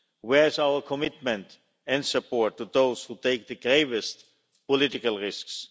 Where is our commitment and support to those who take the gravest political risks?